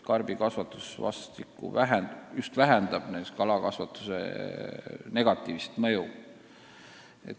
Karbikasvatus vähendab kalakasvatuse negatiivset mõju.